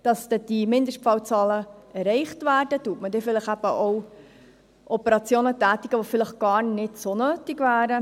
Damit die Mindestfallzahlen erreicht werden, werden vielleicht auch Operationen getätigt, die vielleicht gar nicht so nötig wären.